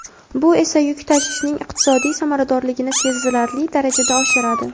bu esa yuk tashishning iqtisodiy samaradorligini sezilarli darajada oshiradi.